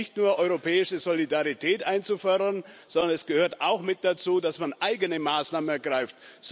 Es reicht nicht nur, europäische Solidarität einzufordern, sondern es gehört auch mit dazu, dass man eigene Maßnahmen ergreift.